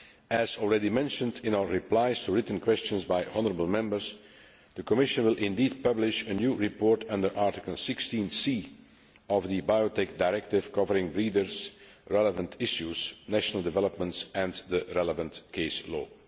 As already mentioned in our replies to written questions by honourable Members, the Commission will indeed publish a new report under Article 16 of the Biotech Directive covering breeders' relevant issues, national developments and the relevant case law.